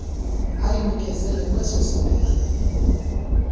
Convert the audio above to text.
ayinikezele kweso sibhedlele